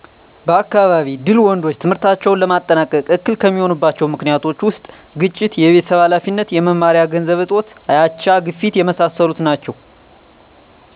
በአካባቢ ድል ወንዶች ትምህርታቸውን ለማጠናቀቅ እክል ከሚሆኑባቸዊ ምክኒቶች ውስጥ ግጭት፣ የቤተሰብ ሀላፊነት፣ የመማሪያ ገንዘብ እጦት፣ የአቻ፣ ግፊት የመሣሠሉት ናቸው።